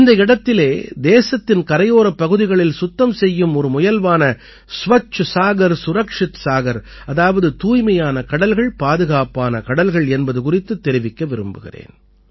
இந்த இடத்திலே தேசத்தின் கரையோரப் பகுதிகளில் சுத்தம் செய்யும் ஒரு முயல்வான ஸ்வச்ச சாகர்சுரக்ஷித் சாகர் அதாவது தூய்மையான கடல்கள்பாதுகாப்பான கடல்கள் என்பது குறித்துத் தெரிவிக்க விரும்புகிறேன்